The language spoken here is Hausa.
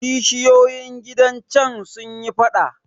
Kishiyoyin gidan can sun yi faɗa.